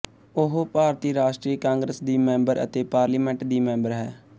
ਉਹ ਭਾਰਤੀ ਰਾਸ਼ਟਰੀ ਕਾਂਗਰਸ ਦੀ ਮੈਂਬਰ ਅਤੇ ਪਾਰਲੀਮੈਂਟ ਦੀ ਮੈਂਬਰ ਹੈ